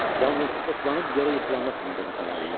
Yalnız oxlanıb yerə yıxılanda tanıdım zavallıları.